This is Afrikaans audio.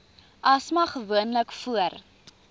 asma gewoonlik voor